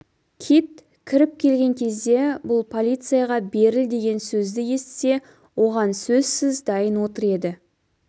кит кіріп келген кезде бұл полицияға беріл деген сөзді естісе оған сөзсіз дайын отыр еді